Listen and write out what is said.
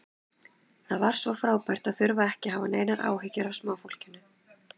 Það var svo frábært að þurfa ekki að hafa neinar áhyggjur af smáfólkinu.